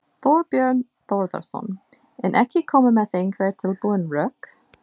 Þorbjörn Þórðarson: En ekki koma með einhver tilbúin rök?